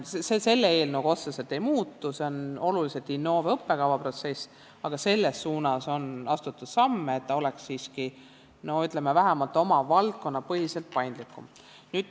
See selle eelnõuga otseselt ei muutu, see on olulises osas Innove õppekavaprotsess, aga on astutud samme selles suunas, et ta oleks siiski, ütleme, vähemalt oma valdkonna põhiselt paindlikum.